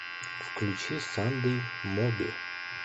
включи сандей моби